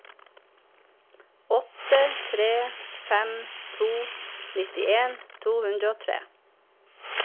åtte tre fem to nittien to hundre og tre